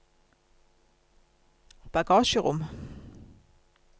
bagasjerom